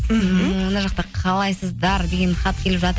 мына жақта қалайсыздар деген хат келіп жатыр